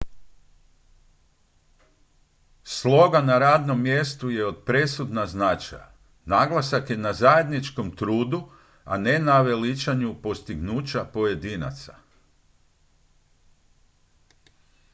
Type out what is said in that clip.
sloga na radnom mjestu je od presudna značaja naglasak je na zajedničkom trudu a ne veličanju postignuća pojedinaca